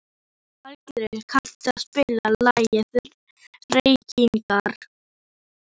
Aðalgeir, kanntu að spila lagið „Reykingar“?